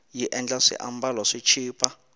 yi endla swiambalo swi chipa